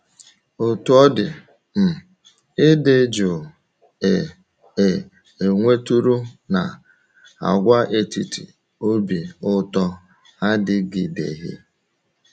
Otú ọ dị, um ịdị jụụ e e nwetụrụ n’Àgwàetiti Obi Ụtọ adịgideghị.